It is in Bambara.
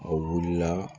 A wulila